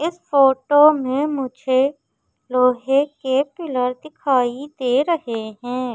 इस फोटो में मुझे लोहे के पिलर दिखाई दे रहे हैं।